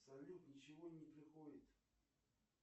салют ничего не приходит